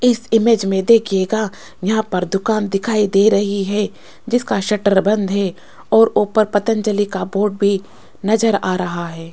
इसके इमेज में देखियेगा यहां पर दुकान दिखाई दे रही है जिसका शटर बंद है और उपर पतंजलि का बोर्ड भी नजर आ रहा है।